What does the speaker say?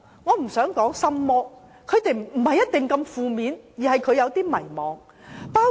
我不想稱之為心魔，因為未必那麼負面，青年人只是有點迷茫。